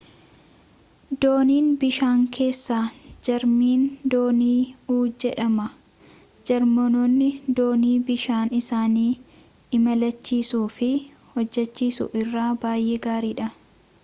dooniin bishaan keessaa jarmani doonii-u jedhama jarmanoonni doonii bishaan isaanii imalchiisuu fi hojjachiisuu irratti baay'ee gaariidha